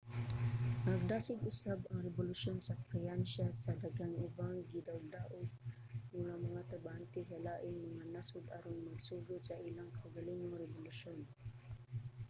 nagdasig usab ang rebolusyon sa pransya sa daghang ubang gidaogdaog nga mga trabahante sa laing mga nasod aron magsugod sa ilang kaugalingong rebolusyon